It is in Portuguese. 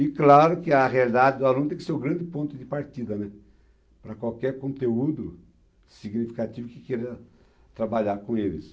E claro que a realidade do aluno tem que ser o grande ponto de partida, né, para qualquer conteúdo significativo que queira trabalhar com eles.